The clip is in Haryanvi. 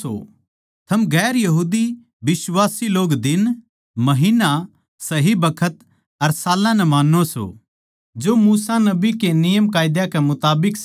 थम गैर यहूदी बिश्वासी लोग दिन महिन्ना सही बखत अर साल्लां नै मान्नो सों जो मूसा नबी के नियमकायदा के मुताबिक सै